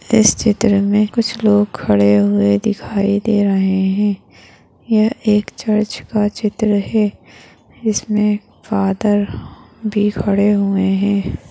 इस चित्र मे कुछ लोग खडे हुए दिखाई दे रहे है ये एक चर्च का चित्र है इसमे फादर भी खडे हुए है।